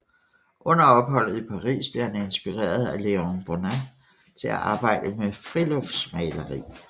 Under opholdet i Paris blev han inspireret af Léon Bonnat til at arbejde med friluftsmaleri